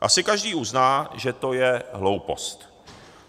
Asi každý uzná, že to je hloupost.